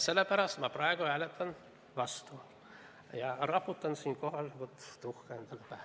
Sellepärast ma praegu hääletan vastu ja raputan siinkohal endale tuhka pähe.